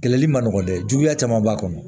Kɛlɛli man nɔgɔn dɛ juguya caman b'a kɔnɔ